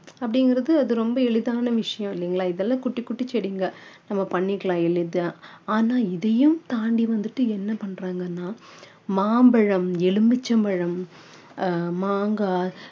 அப்படிங்கிறது அது ரொம்ப எளிதான விஷயம் இல்லைங்களா இதெல்லாம் குட்டி குட்டி செடிங்க நம்ம பண்ணிக்கலாம் எளிதா ஆனா இதையும் தாண்டி வந்துட்டு என்ன பண்றங்கன்னா மாம்பழம் எலுமிச்சபழம் ஆஹ் மாங்காய்